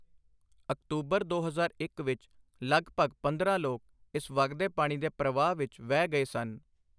October 2001 ਵਿੱਚ ਲਗਭਗ 15 ਲੋਕ ਇਸ ਵਗਦੇ ਪਾਣੀ ਦੇ ਪ੍ਰਵਾਹ ਵਿੱਚ ਵਹਿ ਗਏ ਸਨ।